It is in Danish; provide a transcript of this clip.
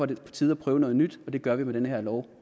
det på tide at prøve noget nyt og det gør vi med den her lov